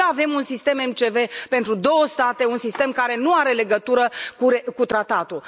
De ce avem un sistem MCV pentru două state, un sistem care nu are legătură cu tratatul.